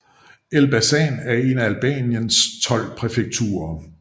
Elbasan er et af Albaniens tolv præfekturer